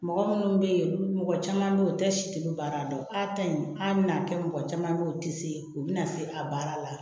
Mɔgɔ minnu bɛ yen mɔgɔ caman bɛ u tɛ sitelen baara dɔn a ta in hali n'a kɛ mɔgɔ caman bɛ yen u tɛ se u bɛna se a baara la